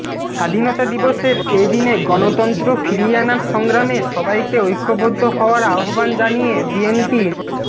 স্বাধীনতা দিবসের এদিনে গণতন্ত্র ফিরিয়ে আনার সংগ্রামে সবাইকে ঐক্যবদ্ধ হওয়ার আহ্বান জানিয়ে বিএনপির